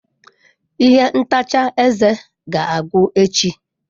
Ihe ntacha eze ga-agwụ echi.